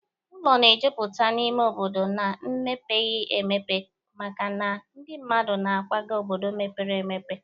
Ụlọ na-ejupụta n'ime obodo n'emepeghi emepe makana ndị mmadụ na-akwaga obodo mepere emepe.